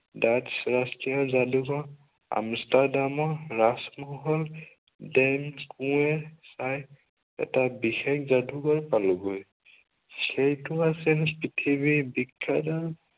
ডাক ৰাষ্ট্ৰীয় যাদুঘৰ, আমিষ্ট্ৰাড্ৰামা ডেনকুৱেৰ চাইড এটা বিশেষ যাদুঘৰ পালোগৈ।